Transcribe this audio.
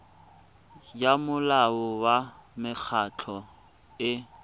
ya molao wa mekgatlho e